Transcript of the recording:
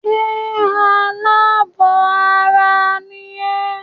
Ṣé alábọ̀ ara ni ẹ́?